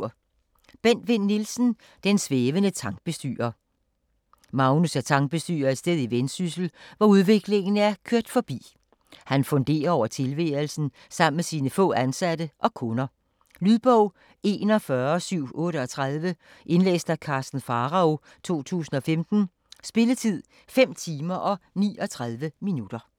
Vinn Nielsen, Bent: Den svævende tankbestyrer Magnus er tankbestyrer et sted i Vendsyssel, hvor udviklingen er kørt forbi. Han funderer over tilværelsen sammen med sine få ansatte og kunder. Lydbog 41738 Indlæst af Karsten Pharao, 2015. Spilletid: 5 timer, 39 minutter.